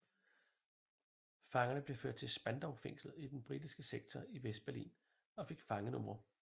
Fangerne blev ført til Spandaufængslet i den britiske sektor i Vestberlin og fik fangenumre